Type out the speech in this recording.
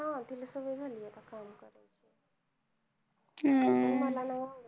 हा तिला सवय झालीय आता काम करायची अह पण मला नाही आवडत ते